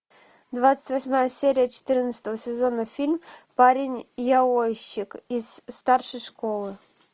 двадцать восьмая серия четырнадцатого сезона фильм парень яойщик из старшей школы